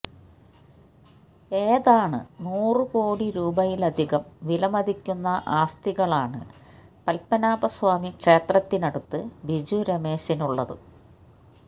ഏതാണ് നൂറ് കോടി രൂപയിലെധികം വിലമതിക്കുന്ന ആസ്തികളാണ് പത്മനാഭ സ്വാമി ക്ഷേത്രത്തിനടുത്ത് ബിജു രമേശിന് ഉള്ളത്